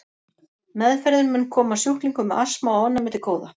Meðferðin mun koma sjúklingum með astma og ofnæmi til góða.